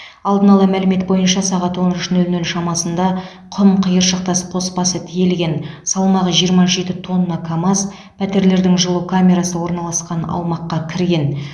алдын ала мәлімет бойынша сағат он үш нөл нөл шамасында құм қиыршықтас қоспасы тиелген салмағы жиырма жеті тонна камаз пәтерлердің жылу камерасы орналасқан аумаққа кірген